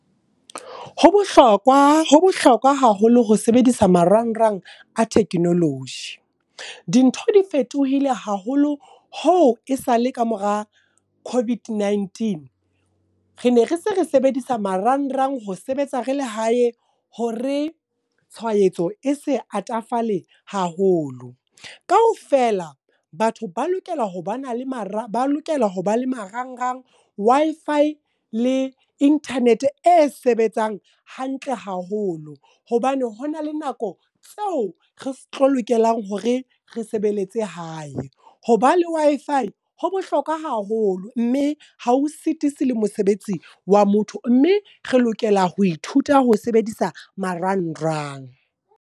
Ho bohlokwa, ho bohlokwa haholo ho sebedisa marangrang a technology. Dintho di fetohile haholo ho e sa le ka mora COVID-19. Re ne re se re sebedisa marangrang ho sebetsa re le hae, hore tshwaetso e se atafale haholo. Kaofela, batho ba lokela ho ba na le marangrang Wi-Fi le internet e sebetsang hantle haholo. Hobane hona le nako tseo re tlo lokelang hore re sebeletse hae. Hoba le Wi-Fi, ho bohlokwa haholo mme ha o sitisi le mosebetsi wa motho. Mme re lokela ho ithuta ho sebedisa marangrang.